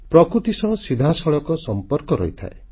ପ୍ରକୃତି ସହ ସିଧାସଳଖ ସମ୍ପର୍କ ରହିଥାଏ